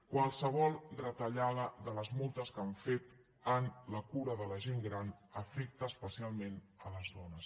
qualsevol retallada de les moltes que han fet en la cura de la gent gran afecta especialment les dones